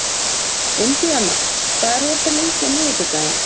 Indiana, hvað er opið lengi á miðvikudaginn?